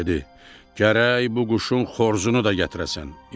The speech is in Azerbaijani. Dedi: gərək bu quşun xoruzunu da gətirəsən.